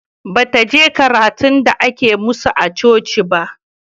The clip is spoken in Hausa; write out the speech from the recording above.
Bataje karatun da ake masu a coci ba